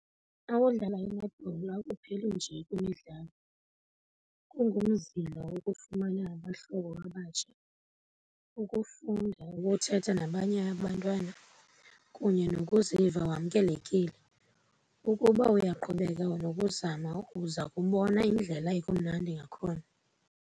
Xa udlala i-netball akupheli nje kwimidlalo, kungumzila wokufumana abahlobo abatsha, ukufunda ukuthetha nabanye abantwana kunye nokuziva wamkelekile. Ukuba uyaqhubeka nokuzama uza kubona indlela ekumandi ngakhona.